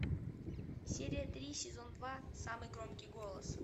серия три сезон два самый громкий голос